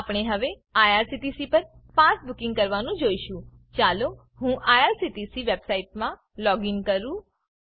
આપણે હવે આઇઆરસીટીસી પર પાસ બુકિંગ કરવાનું જોઈશું ચાલો હું આઇઆરસીટીસી વેબસાઈટમાં લોગીન કરું